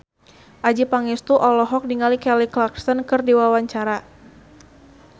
Adjie Pangestu olohok ningali Kelly Clarkson keur diwawancara